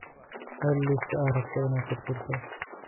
Hel liiska aad rabto inaad tirtirto